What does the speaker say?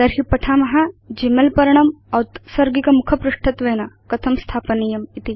तर्हि पठाम Gmail पर्णं औत्सर्गिक मुखपृष्ठत्वेन कथं स्थापनीयम् इति